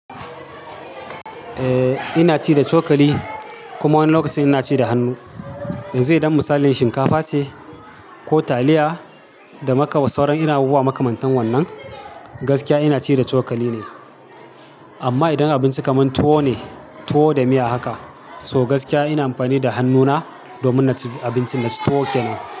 Eh ina ci da cokali kuma woni lokacin ina ci da hannu. Yanzu idon misalin shinkafa ce ko taliya da maka sauran irin abubuwa maka mantan wannan, gaskiya ina ci da chokali ne. Amma idon abinci kaman tuwo ne, tuwo da miya haka, so gaskiya ina amfani da hannuna domin na ci abincin na su tuwo kenan.